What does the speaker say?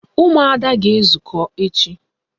Ụmụada ga-ezukọ echi